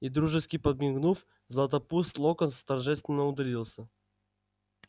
и дружески подмигнув златопуст локонс торжественно удалился